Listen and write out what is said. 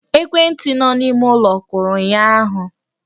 Ekwentị ahụ nọ n'ime ụlọ kụrụ ụnyụahụ